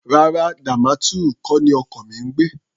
Rárá, Damaturu kọ́ ni ọkọ mi ń gbé.